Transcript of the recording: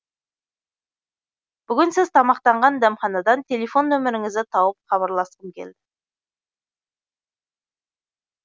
бүгін сіз тамақтанған дәмханадан телефон нөміріңізді тауып хабарласқым келді